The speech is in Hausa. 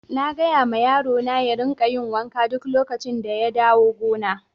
Na gaya ma yaro na ya rika yin wanka duk lokacin da ya dawo gona.